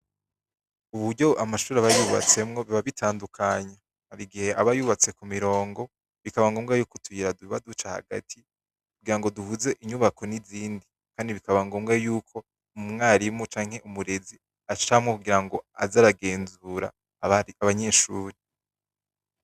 Uburyo amashure aba yubatsemwo biba bitandukanye, hari igihe aba yubatse ku mirongo, bikaba ngombwa ko tuba duca hagati kugira ngo duhuze inyubako n'izindi kandi bikaba ngombwa yuko umwarimu canke umurezi acamwo kugira ngo aze aragenzura abanyeshure.